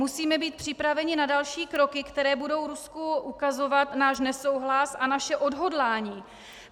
Musíme být připraveni na další kroky, které budou Rusku ukazovat náš nesouhlas a naše odhodlání.